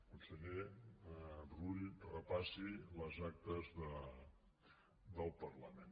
conseller rull repassi les actes del parlament